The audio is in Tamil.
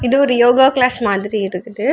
இது ஒரு யோகா கிளாஸ் மாதிரி இருக்குது.